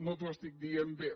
no no ho estic dient bé